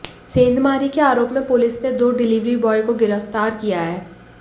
सेंधमारी के आरोप में पुलिस ने दो डिलीवरी बॉय को गिरफ्तार किया है